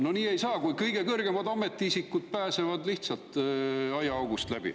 No nii ei saa, kui kõige kõrgemad ametiisikud pääsevad lihtsalt aiaaugust läbi.